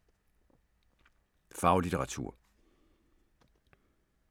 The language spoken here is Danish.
Faglitteratur